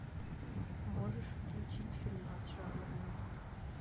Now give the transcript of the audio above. можешь включить фильмас жанр мульт